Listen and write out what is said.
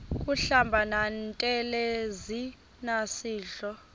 kuhlamba ngantelezi nasidlo